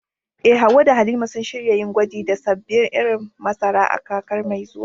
Eh, Hawwa da Halima sun shirya yin gwaji da sabbin irin masara a kakar mai zuwa.